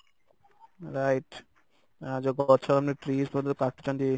right ଆଉ ଯଉ ଗଛ ଆମେ trees ପତ୍ର ଯଉ କାଟୁଛନ୍ତି